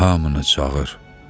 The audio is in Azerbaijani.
Hamını çağır.